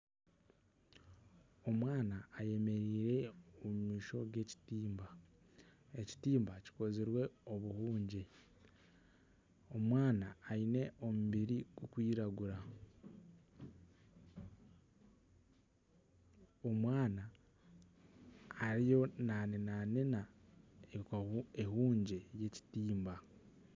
Omwana eyemereire omu maisho g'ekitimba, ekitimba kikozirwe obuhungye omwana aine omubiri gukwiragura, omwana ariyo nanenaneena ehungye y'ekitimba.